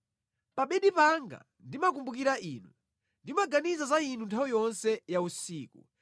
Pa bedi panga ndimakumbukira inu; ndimaganiza za Inu nthawi yonse ya usiku.